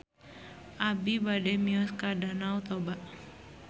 Abi bade mios ka Danau Toba